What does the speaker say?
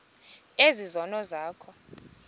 ezi zono zakho